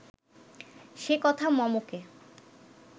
সে কথা মমকে